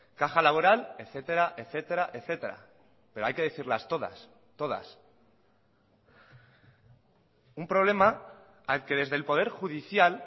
caja laboral etcétera etcétera etcétera pero hay que decirlas todas todas un problema al que desde el poder judicial